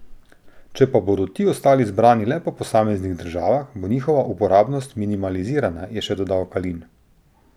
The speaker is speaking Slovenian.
Če pa bodo ti ostali zbrani le po posameznih državah, bo njihova uporabnost minimalizirana, je še dodal Kalin.